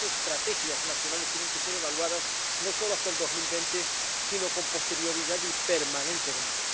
Y esas estrategias nacionales tienen que ser evaluadas no solo hasta el 2020 sino con posterioridad y permanentemente.